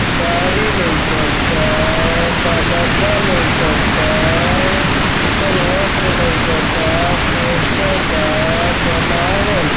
साड़ी लऊकता| का डब्बा लऊकता| सीतल वस्त्र लऊकता पोस्टर बा बनावल ब--